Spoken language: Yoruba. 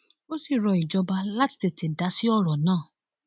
ó sì rọ ìjọba láti tètè dá sí ọrọ náà